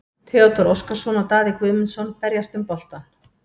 Theodór Óskarsson og Daði Guðmundsson berjast um boltann.